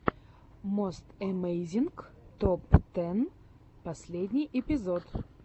мост эмейзинг топ тэн последний эпизод